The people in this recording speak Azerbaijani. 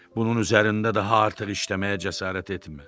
Bunun üzərində daha artıq işləməyə cəsarət etmə.